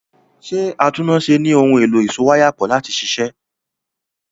Ṣé atúnnáṣe ní ohun èlò ìsowáyàpọ̀ láti ṣiṣẹ́?